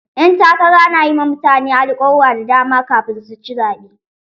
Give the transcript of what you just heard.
Ƴan takara na yi ma mutane alkawura da dama kafin su ci zaɓe.